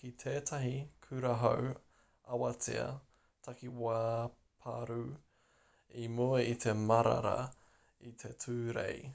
ki tētahi kurahau-awatea takiwā pārū i mua i te marara i te tūrei